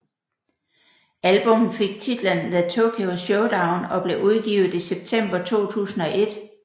Albummet fik titlen The Tokyo Showdown og blev udgivet i september 2001